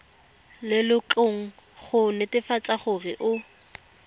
lelokong go netefatsa gore o